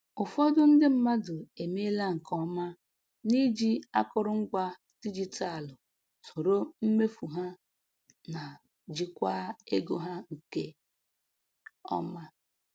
Ụfọdụ ndi mmadụ emeela nke ọma n’iji akụrụngwa dijitalụ soro mmefu ha na jikwaa ego ha nke ọma.